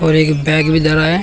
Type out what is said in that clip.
एक बैग भी धरा है।